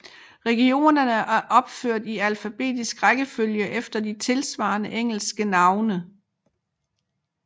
Regionerne er opført i alfabetisk rækkefølge efter de tilsvarende engelske navne